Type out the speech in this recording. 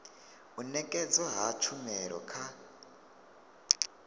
u nekedzwa ha tshumelo kha